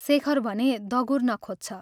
शेखर भने दगुर्न खोज्छ।